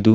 ಇದು